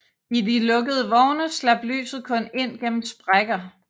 I de lukkede vogne slap lyset kun ind gennem sprækker